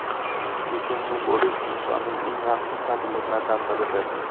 Kechirimli bo‘lish insonning eng yaxshi fazilatlaridan biridir.